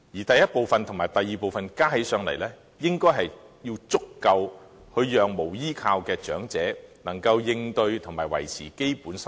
第一部分和第二部分的金額相加起來，須足以讓無依無靠的長者應付和維持基本生活。